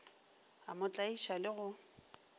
a mo tlaiša le go